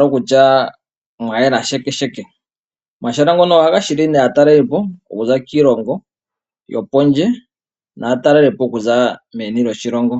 kokutya mwa yela shekesheke. Omahala ngono ohaga hili nduno aatalelipo okuza kiilongo yopondje naatalelipo okuza meni lyoshilongo.